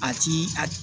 A ti a